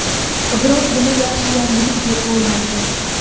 Biroq buni yaxshi yangilik deb bo‘lmaydi.